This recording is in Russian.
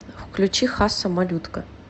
включи хасса малютка